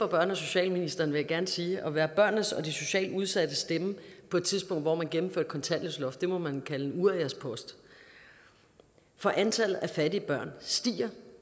børne og socialministeren vil jeg gerne sige at være børnenes og de socialt udsattes stemme på et tidspunkt hvor man gennemfører et kontanthjælpsloft det må man kalde en uriaspost for antallet af fattige børn stiger